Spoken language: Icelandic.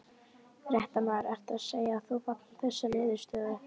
Fréttamaður: Ertu þá að segja að þú fagnir þessari niðurstöðu?